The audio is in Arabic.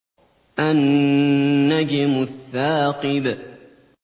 النَّجْمُ الثَّاقِبُ